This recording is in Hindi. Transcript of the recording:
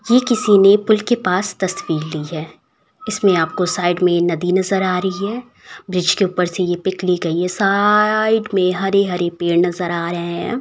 ये किसी ने पूल के पास तस्वीर ली है इसमें आपको साइड में नदी नज़र आ रही है। ब्रिज के ऊपर से ये पिक ली गयी है। सा साइड में हरे-हरे पेड़ नज़र आ रहे हैं।